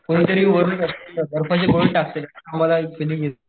कोण तरी वरन अशी बर्फाची गोळे टाकताय असं आम्हला फीलिन्ग येत होती.